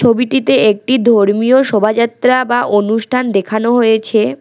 ছবিটিতে একটি ধর্মীয় শোভাযাত্রা বা অনুষ্ঠান দেখানো হয়েছে।